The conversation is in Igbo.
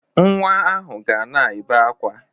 Nwa ahụ ga na-ebe akwa.